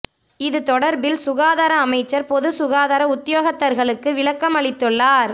இது தொடர்பில் சுகாதார அமைச்சர் பொதுச் சுகாதார உத்தியோகத்தர்களுக்கு விளக்கம் அளித்துள்ளார்